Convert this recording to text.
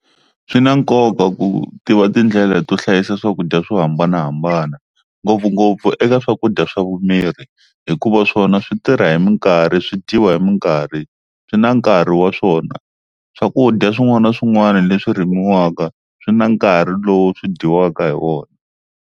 Swi na nkoka ku tiva tindlela to hlayisa swakudya swo hambanahambana ngopfungopfu eka swakudya swa vumiri, hikuva swona swi tirha hi minkarhi swi dyiwa hi minkarhi swi na nkarhi wa swona. Swakudya swin'wana na swin'wana leswi rimiwaka swi na nkarhi lowu swi dyiwaka hi wona.